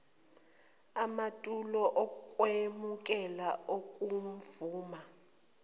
amatulo okwemukela okuvuma